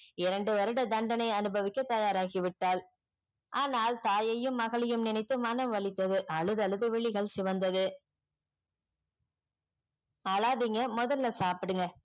இரண்டு வருடம் தண்டனை அனுபவிக்க தயாராகிவிட்டால் ஆனால் தாயையும் மகளையும் நினைத்து மணம் வலித்தது அழுது அழுது விழிகள் சிவந்தது அழாதிங்க மொதல்ல சாப்டுங்க